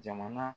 Jamana